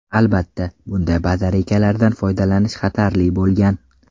Albatta, bunday batareykalardan foydalanish xatarli bo‘lgan.